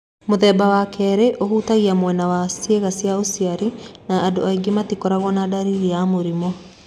Mũthemba wa kerĩ ũhutagia mwena wa ciĩga cia ũciari na andũ angĩ matikoragwo na ndariri ya mũrimũ.